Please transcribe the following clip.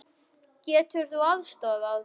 Getur þú aðstoðað?